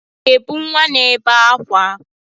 Ị ga-ebu nwa na-ebe ákwá?